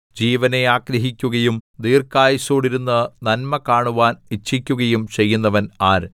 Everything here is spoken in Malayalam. ജീവനെ ആഗ്രഹിക്കുകയും ദീർഘായുസ്സോടെയിരുന്ന് നന്മ കാണുവാൻ ഇച്ഛിക്കുകയും ചെയ്യുന്നവൻ ആര്